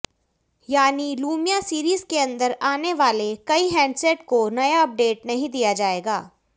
यानी Lumia series के अंदर आने वाले कई हैंडसेट को नया अपडेट नहीं दिया जाएगा